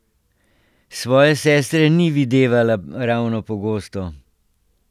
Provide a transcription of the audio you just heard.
Svoje sestre ni videvala ravno pogosto.